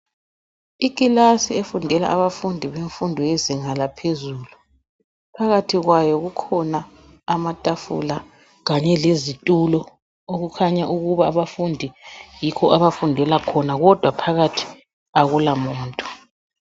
Ikilasi efundela abafundi befundo yezinga laphezulu phakathi kwayo kukhona amatafula kanye lezitulo okukhanya ukuba abafundi yikho abafundela khona kodwa phakathi akulamuntu